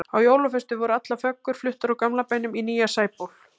Á jólaföstu voru allar föggur fluttar úr gamla bænum í nýja Sæból.